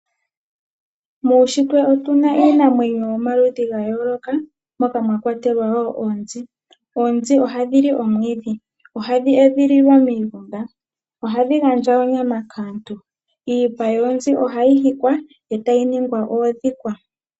Muushitwe otu na iinamwenyo yomaludhi ga yooloka moka mwa kwatelwa wo oonzi. Oonzi ohadhi li omwiidhi. Ohadhi edhiliwa miigunda. Ohadhi gandja onyama kaantu. Iipa yoonzi ohayi hikwa e tayi ningwa oondhikwa.